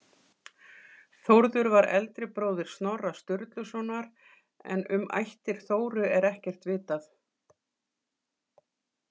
Þórður var eldri bróðir Snorra Sturlusonar en um ættir Þóru er ekkert vitað.